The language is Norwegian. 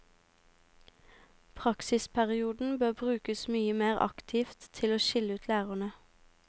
Praksisperioden bør brukes mye mer aktivt til å skille ut lærerne.